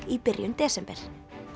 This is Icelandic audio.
í byrjun desember